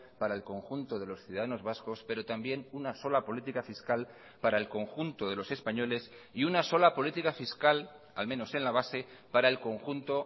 para el conjunto de los ciudadanos vascos pero también una sola política fiscal para el conjunto de los españoles y una sola política fiscal al menos en la base para el conjunto